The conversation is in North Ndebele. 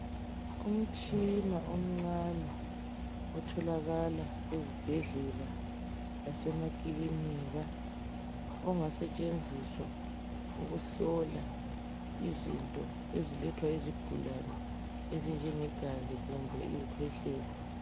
Umtshina omncane otholakala ezibhendlela lasemakilinika ongasetshenziswa ukuhlola izinto ezilethwa yizigulane ezinjengegazi kumbe izikhwehlela.